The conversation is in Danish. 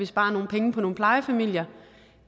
spare nogle penge på nogle plejefamilier